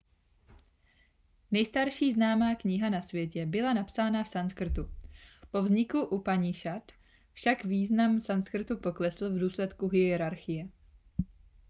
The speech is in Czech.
nejstarší známá kniha na světě byla napsána v sanskrtu po vzniku upanišad však význam sanskrtu poklesl v důsledku hierarchie